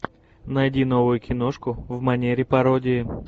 найди новую киношку в манере пародии